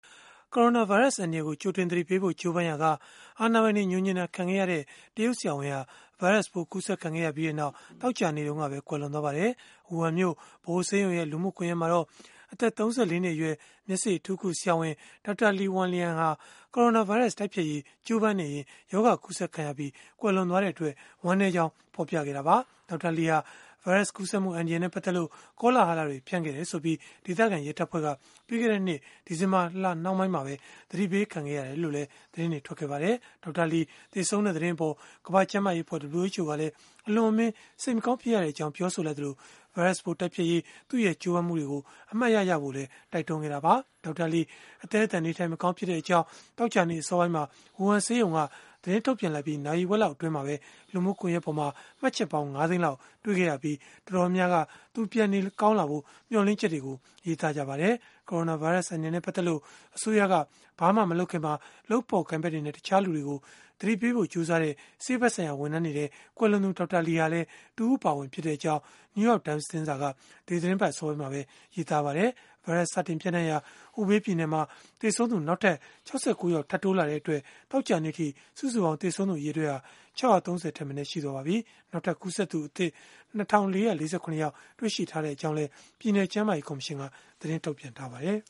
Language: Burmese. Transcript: ကိုရိုနာဗိုင်းရပ်စ် အန္တရာယ်ကို ကြိတင်သတိပေးဖို့ ကြိုးပမ်းရာက အာဏာပိုင်တွေ ငြိုငြင်တာခံခဲ့ရတဲ့ ဆရာဝန်ဟာ ဗိုင်းရပ်စ်ပိုး ကူးစက်ခံရပြီး သောကြာနေ့မှာပဲ ကွယ်လွန်သွားပါတယ်။ ဝူဟန်မြို့ ဗဟိုဆေးရုံရဲ့ လူမှုကွန်ရက်မှာတော့ အသက် ၃၄ နှစ်အရွယ် မျက်စေ့အထူးကုဆရာဝန် Dr. Li Wenliang ဟာ ကိုရိုနာဗိုင်းရပ်စ် တိုက်ဖျက်ရေး ကြိုးပမ်းနေရင်း ရောဂါကူးစက်ခံရပြီး ကွယ်လွန်သွားတဲ့အတွက် ဝမ်းနည်းကြောင်း ဖော်ပြခဲ့တာပါ။ Dr. Li ဟာ ဗိုင်းရပ်စ်ကူးစက်မှု အန္တရယ်နဲ့ ပတ်သက်လို့ ကောလဟလတွေ ဖြန့်ခဲ့တယ်ဆိုပြီး ဒေသခံရဲတပ်ဖွဲ့က ပြီးခဲ့တဲ့နှစ် ဒီဇင်ဘာလနှောင်းပိုင်းမှာပဲ သတိပေးခံခဲ့ရတယ်လို့လည်း သတင်းတွေ ထွက်ပေါ်ခဲ့ပါတယ်။ Dr. Li သေဆုံးတဲ့ သတင်းအပေါ် ကမ္ဘာ့ကျန်းမာရေးအဖွဲ့ (WHO) ကလည်း အလွန်အမင်း စိတ်မကောင်း ဖြစ်ရကြောင်း ပြောဆိုလိုက်သလို၊ ဗိုင်းရပ်စ်ပိုး တိုက်ဖျက်ရေး သူ့ရဲ့ကြိုးပမ်းမှုတွေကို အမှတ်ရကြဖို့လည်း တိုက်တွန်းခဲ့တာပါ။ Dr. Li အသည်းအသန် နေထိုင်မကောင်းဖြစ်နေတဲ့အကြောင်း သောကြာနေ့ အစောပိုင်းမှာ ဝူဟန်ဆေးရုံက သတင်းထုတ်ပြန်လိုက်ပြီး နာရီဝက်လောက် အတွင်းမှာပဲ လူမှုကွန်ရက်ပေါ်မှာ မှတ်ချက်ပေါင်း ၅ သိန်းလောက် တွေ့ခဲ့ရပြီး၊ တော်တော်များများကတော့ သူပြန်နေကောင်းလာဖို့ မျှော်လင့်ချက်တွေကို ရေးသားခဲ့ကြပါတယ်။ ကိုရိုနာဗိုင်းရပ်စ် အန္တရာယ်နဲ့ ပတ်သက်လို့ အစိုးရက ဘာမှမလုပ်ခင်မှာ လုပ်ဖော်ကိုင်ဖက်တွေနဲ့ တခြားလူတွေကို သတိပေးဖို့ ကြိုးစားခဲ့ကြတဲ့ ဆေးဖက်ဆိုင်ရာ ဝန်ထမ်းတွေထဲမှာ ကွယ်လွန်သူ Dr. Li ဟာလည်း တဦးအပါအဝင်ဖြစ်ကြောင်း New York Times သတင်းစာက ဒီသီတင်းပတ် အစောပိုင်းမှာပဲ ရေးသားခဲ့ပါတယ်။ ဗိုင်းရပ်စ်စတင် ပျံ့နှံ့ရာ Hubei ပြည်နယ်မှာ သေဆုံးသူ နောက်ထပ် ၆၉ ယောက် ထပ်တိုးလာတဲ့အတွက် သောကြာနေ့အထိ စုစုပေါင်း သေဆုံးသူ အရေအတွက်ဟာ ၆၃၀ ထက်မနည်း ရှိသွားပါပြီ။ နောက်ထပ်ကူးစက်သူ ၂,၄၄၇ ယောက် တွေ့ရှိထားကြောင်းလည်း Hubei ပြည်နယ်ကျန်းမာရေး ကော်မရှင်က သတင်းထုတ်ပြန်ထားပါတယ်